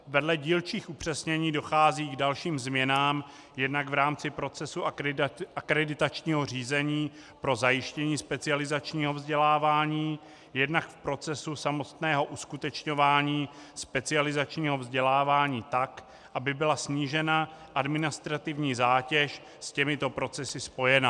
Vedle dílčích upřesnění dochází k dalším změnám jednak v rámci procesu akreditačního řízení pro zajištění specializačního vzdělávání, jednak v procesu samotného uskutečňování specializačního vzdělávání tak, aby byla snížena administrativní zátěž s těmito procesy spojená.